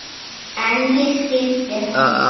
En ég skildi hana.